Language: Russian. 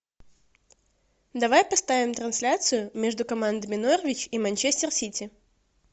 давай поставим трансляцию между командами норвич и манчестер сити